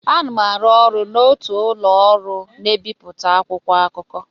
M na-arụ ọrụ n'otu ụlọ ọrụ na-ebipụta akwụkwọ akụkọ.